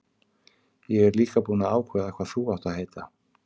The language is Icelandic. Ég er líka búinn að ákveða hvað þú átt að heita.